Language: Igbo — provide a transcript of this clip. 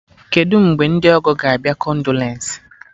Kedụ mgbe ndị ọgọ ga abịa-kondolensị?